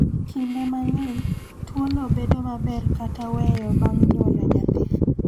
Kinde mang�eny, tuono bedo maber kata weyo bang� nyuolo nyathi.